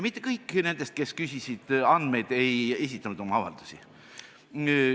Mitte kõik nendest, kes küsisid andmeid, ei esitanud avaldust.